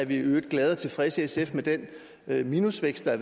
i øvrigt glade og tilfredse i sf med den minusvækst der